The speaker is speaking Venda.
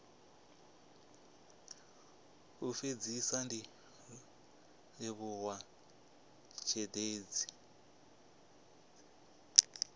u fhedzisa ndi livhuwa zhendedzi